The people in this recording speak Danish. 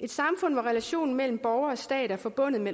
et samfund hvor relationen mellem borger og stat er forbundet med